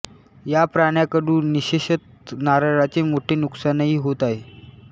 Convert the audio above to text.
या प्राण्याकडून विशेषतः नारळाचे मोठे नुकसानही होत आहे